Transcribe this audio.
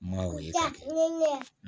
Mun ye